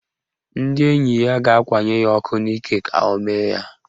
Ndị enyi ya ga-akwanye ya ọkụ n'ike ka o mee ya.